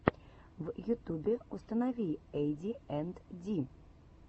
в ютубе установи эйди энд ди